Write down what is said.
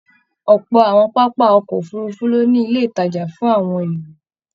Ọpọ àwọn pápá ọkọ òfurùnfu lo ní ilé ìtajà fún àwọn èrò.